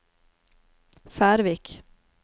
Færvik